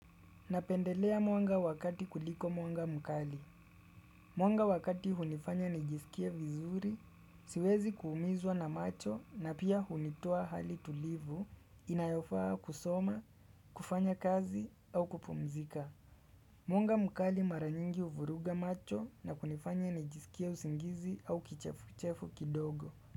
Napendelea mwanga wa kati kuliko mwanga mkali. Mwanga wa kati hunifanya nijisikie vizuri, siwezi kuumizwa na macho na pia hunitoa hali tulivu, inayofaa kusoma, kufanya kazi au kupumzika. Mwanga mkali mara nyingi huvuruga macho na kunifanya nijisikia usingizi au kichefu kichefu kidogo.